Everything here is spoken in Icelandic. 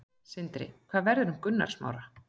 Sindri: Hvað verður um Gunnar Smára?